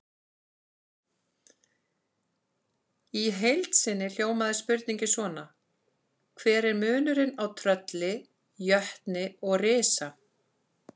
Í heild sinni hljómaði spurningin svona: Hver er munurinn á trölli, jötni og risa?